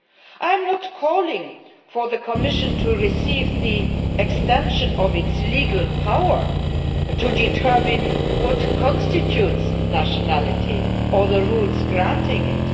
I am not calling for the Commission to obtain extension of its legal power to determine what constitutes nationality or the rules granting